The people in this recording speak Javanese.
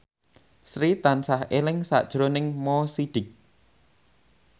Sri tansah eling sakjroning Mo Sidik